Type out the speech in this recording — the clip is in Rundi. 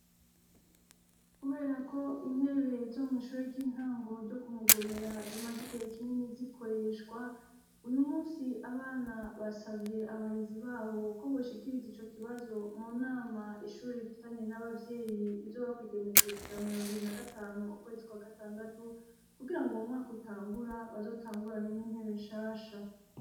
Kuberako intebe zo mw'ishure ry'intango ryo Kumugomera zimaze igihe kinini zikoreshwa, uyu munsi abana basavye abarezi babo ko boshikiriza ico kibazo mu nama ishure rifitanye n'abavyeyi rizoba kwi genekerezo rya mirongo ibiri na gatanu, ukwezi kwa gatandatu kugirango umwaka utangura bazotangurane n'intebe nshasha.